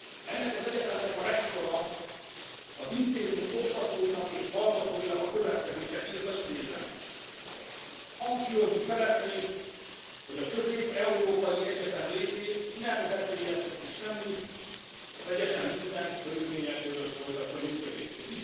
Ennek az egyetemnek a rektora az intézmény oktatóinak és hallgatóinak a következőket írta, idézem Hangsúlyozni szeretnénk, hogy a Közép európai Egyetem létét nem veszélyezteti semmi, az egyetem minden körülmények között folytatja működését.